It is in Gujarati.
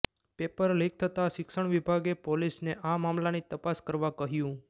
પેપર લીક થતાં શિક્ષણ વિભાગે પોલીસને આ મામલાની તપાસ કરવા કહ્યું